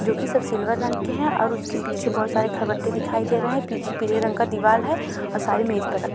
जो कि सब सिल्वर रंग के हैं और उसके पीछे बहुत सारे खलबट्टे दिखाई दे रहे हैं पीछे पीले रंग का दीवाल है और सारे मेज पर रखे --